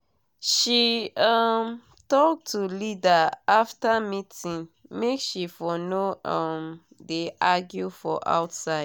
she um talk to leader after meeting make she for no um de argue for outside